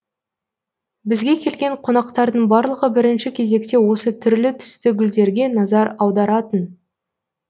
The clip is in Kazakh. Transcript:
бізге келген қонақтардың барлығы бірінші кезекте осы түрлі түсті гүлдерге назар аударатын